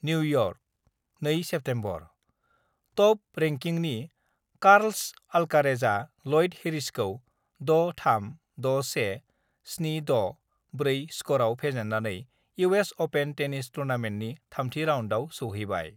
New York, 2 September: top रेंकिंनि Carlos अल्कारेजआ Lloyd हेरिसखौ 6-3, 6-1, 7-6(4) स्करआव फेजेन्नानै इउएस अपेन टेनिस टुर्नामेन्टनि थामथि राउन्डआव सौहैबाय।